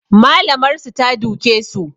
Malamar su ta duke su